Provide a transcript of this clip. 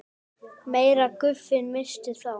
meira af gufunni missist þá.